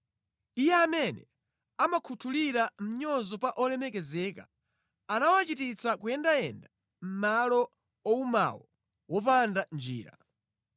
Iye amene amakhuthulira mʼnyozo pa olemekezeka anawachititsa kuyendayenda mʼmalo owumawo wopanda njira.